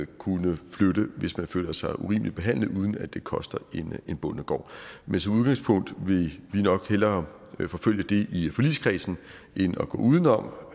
kunne flytte hvis de føler sig urimeligt behandlet uden at det koster en bondegård men som udgangspunkt vil vi nok hellere forfølge det i forligskredsen end at gå uden om